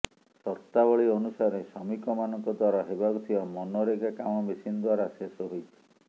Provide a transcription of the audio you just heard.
ସର୍ତ୍ତାବଳୀ ଅନୁସାରେ ଶ୍ରମିକମାନଙ୍କ ଦ୍ବାରା ହେବାକୁ ଥିବା ମନରେଗା କାମ ମେସିନ ଦ୍ବାରା ଶେଷ ହୋଇଛି